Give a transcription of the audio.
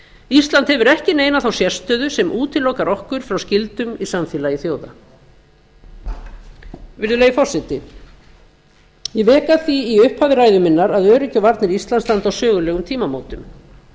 ísland hefur ekki neina þá sérstöðu sem útilokar okkur frá skyldum í samfélagi þjóða virðulegi forseti ég vék að því í upphafi ræðu minnar að öryggi og íslands standa á sögulegum tímamótum